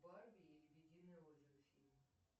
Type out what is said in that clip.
барби и лебединое озеро фильм